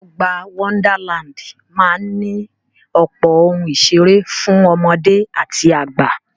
Ọgbà Wonderland máa ní ọ̀pọ̀ ohun ìseré fún ọmọdé àti àgbà.